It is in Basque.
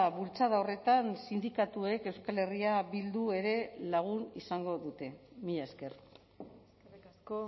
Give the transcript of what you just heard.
bultzada horretan sindikatuek euskal herria bildu ere lagun izango dute mila esker eskerrik asko